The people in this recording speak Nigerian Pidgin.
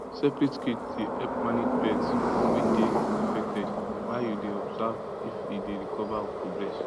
separate cage dey help manage birds way dey infected while you dey observe if e dey recover or progress